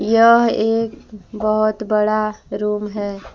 यह एक बहुत बड़ा रूम है।